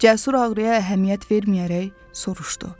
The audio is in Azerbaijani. Cəsur ağrıya əhəmiyyət verməyərək soruşdu: